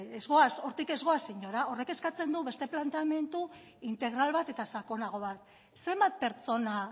hortik ez goaz inora horrek eskatzen du beste planteamendu integral bat eta sakonago bat zenbat pertsona